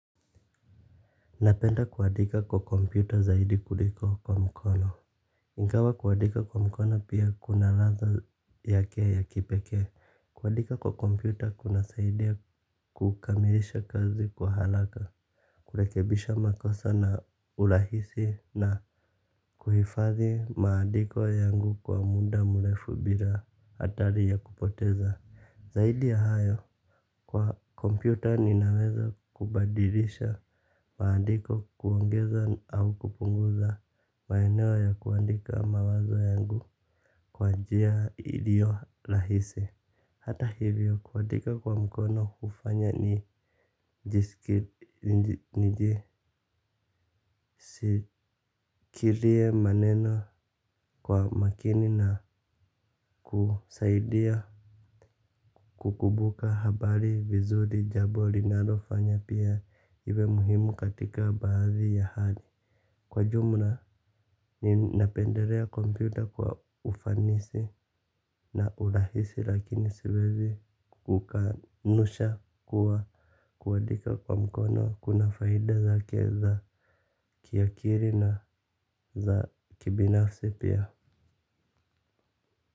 Napenda kuadika kwa kompyuta zaidi kuliko kwa mkono. Ingawa kuadika kwa mkono pia kuna latha yake ya kipeke. Kuadika kwa kompyuta kuna saidia kukamilisha kazi kwa halaka. Kulekebisha makosa na ulahisi na kuhifadhi maandiko yangu kwa muda mlefu bila atari ya kupoteza. Zaidi ya hayo kwa kompyuta ninaweza kubadilisha maandiko kuongeza au kupunguza maeneo ya kuandika mawazo yangu kwa njia ilio lahisi. Hata hivyo kuandika kwa mkono hufanya nijisikilie maneno kwa makini na kusaidia kukubuka habari vizuri jabo linalofanya pia iwe muhimu katika baadhi ya hali. Kwa jumla, ninapenderea kompyuta kwa ufanisi na urahisi lakini siwezi kukanusha kuwa kuadika kwa mkono kuna faida zake za kiakiri na za kibinafsi pia.